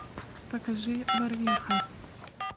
покажи барвиха